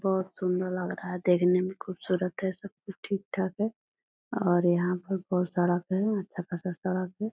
बहुत सुन्दर लग रहा है देखने में खूबसूरत है सब कुछ ठीक-ठाक है और यहाँ पे बहोत सड़क है अच्छा खासा सड़क है ।